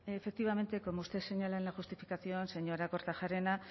efectivamente como usted señala en la justificación señora kortajarena